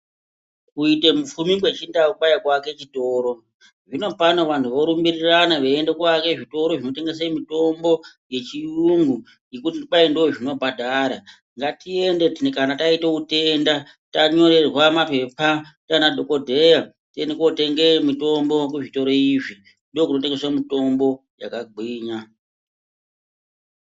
Kuite mupfumi kwe chindau kwai ku ake chitoro zvino pano vanhu vo rumbirirana vei ende ko ake zvitoro zvino tengese mitombo ye chiyungu ngekuti kwai ndo zvino bhadhara ngati ende kana taite utenda ta nyorerwa mapepa ndiana dhokodheya tiende kotenge mitombo ku zvitoro izvi ndokuno tengeswe mitombo yaka gwinya.